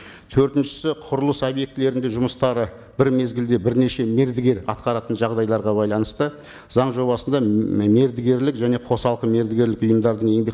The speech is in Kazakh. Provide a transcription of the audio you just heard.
төртіншісі құрылыс объектілерінде жұмыстары бір мезгілде бірнеше мердігер атқаратын жағдайларға байланысты заң жобасында мердігерлік және қосалқы мердігерлік ұйымдардың еңбек